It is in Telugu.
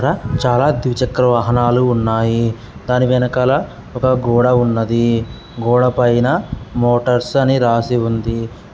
చాల ద్వి చక్ర వాహనాలున్నాయి. దాని వెనుకాల ఒకగోడ ఉన్నదీ. గోడ పైన మోటార్స్ అని రాసి ఉంది.